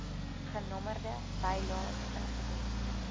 genommerde bylaes ingedien